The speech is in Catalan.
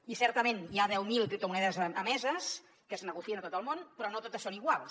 i certament hi ha deu mil criptomonedes emeses que es negocien a tot el món però no totes són iguals